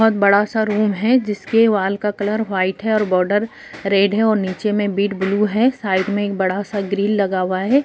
बहुत बड़ा-सा रूम है जिसके वॉल का कलर वाइट है बॉर्डर रेड है और नीचे में बीट ब्लू साइड में एक बड़ा सा ग्रिल लगा हुआ है।